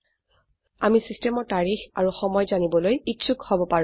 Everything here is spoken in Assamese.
আমি সিস্টেমৰ তাৰিখ আৰু সময় জানিবলৈ ইচ্ছোক হব পাৰো